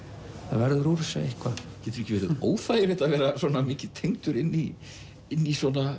það verður úr þessu eitthvað getur ekki verið óþægilegt að vera svona mikið tengdur inn í í svona